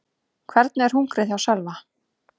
Hvernig er hungrið hjá Sölva?